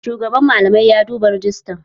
Shugaban malamai ya duba rejistan